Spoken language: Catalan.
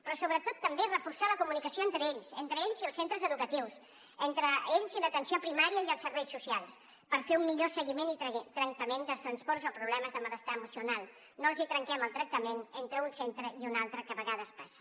però sobretot també reforçar la comunicació entre ells entre ells i els centres educatius entre ells i l’atenció primària i els serveis socials per fer un millor seguiment i tractament dels trastorns o problemes de malestar emocional que no els hi trenquem el tractament entre un centre i un altre que a vegades passa